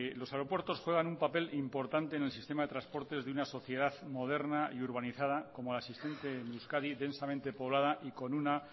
los aeropuertos juegan un papel importante en el sistema de transportes de una sociedad moderna y urbanizada como la asistente en euskadi densamente poblada y con una